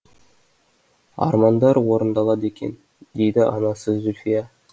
армандар орындалады екен дейді анасы зүлфия